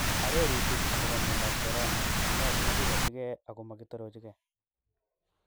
Arorutik akopo miondap korona : ene simagikotige agomogitoroche ge.